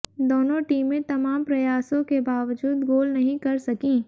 दोनों टीमें तमाम प्रयासों के बावजूद गोल नहीं कर सकीं